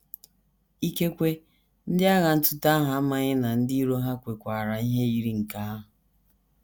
Ikekwe, ndị agha ntụte ahụ amaghị na ndị iro ha kwekwaara ihe yiri nke ahụ.